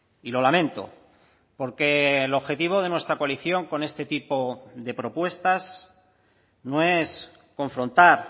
y lo lamento porque el objetivo de nuestra coalición con este tipo de propuestas no es confrontar